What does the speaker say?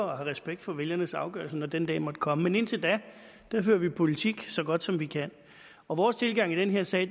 og har respekt for vælgernes afgørelse når den dag måtte komme men indtil da fører vi politik så godt som vi kan og vores tilgang i den her sag